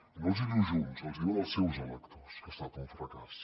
i no els hi diu junts els hi diuen els seus electors que ha estat un fracàs